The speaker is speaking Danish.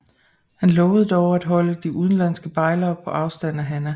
Han lover dog at holde de udenlandske bejlere på afstand af Hanna